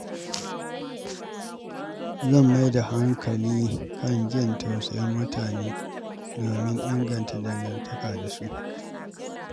Zan mai da hankali kan jin tausayin mutane domin inganta dangantakata da su.